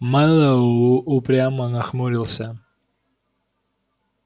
мэллоу упрямо нахмурился